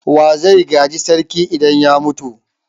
Wa zai gaji sarki idan ya mutu?